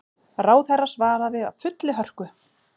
Ráðherra svaraði af fullri hörku.